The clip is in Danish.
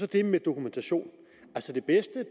det med dokumentationen det bedste